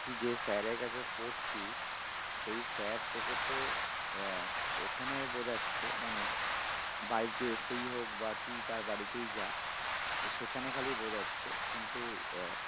তুই যে sir এর কাছে পড়ছিস সেই sir তোকে তো আহ ওখানে বোঝাচ্ছে মানে বাড়িতে এসেই হোক বা তুই তার বাড়িতেই যা তো সেখানে খালি বোঝাচ্ছে কিন্তু আহ